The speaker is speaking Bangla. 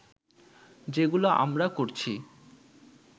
যেগুলো আমরা করছি